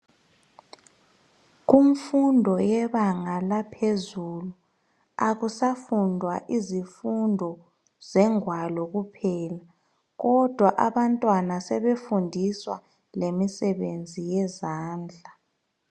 Kumfundo yebanga laphezulu akusafundwa izifundo zengwalo kuphela. Kodwa abantwana sebefundiswa lemisebenzi yezandla.